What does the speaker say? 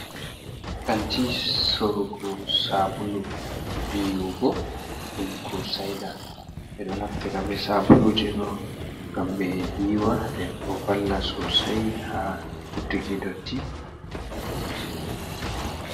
Kaanti sorugo sabulu yiiwugo ɗum kurusaida, ɓeɗo naftira be Sabuluje ɗo ngam ɓee yiiwa ndebo valla sosai ha ittuki dotti.